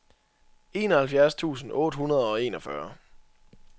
enoghalvfjerds tusind otte hundrede og enogfyrre